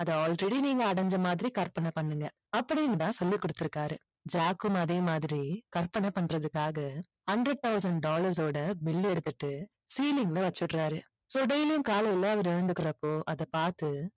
அதை already நீங்க அடைஞ்ச மாதிரி கற்பனை பண்ணுங்க அப்படின்னுதான் சொல்லி கொடுத்து இருக்காரு ஜாக்கும் அதே மாதிரி கற்பனை பண்றதுக்காக hundred thousand dollars ஓட bill எடுத்துட்டு ceiling ல வெச்சிடுறாரு so daily யும் காலையில அவரு எழுந்துக்கறப்போ அதை பார்த்து